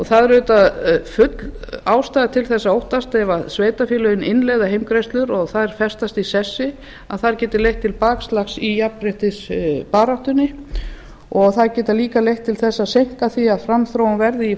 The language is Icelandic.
það er auðvitað full ástæða til þess að óttast að ef sveitarfélögin innleiða heimgreiðslur og þær festast í sessi að þær geti leitt til bakslags í jafnréttisbaráttunni og þær geta líka leitt til þess að seinka því að framþróun verði í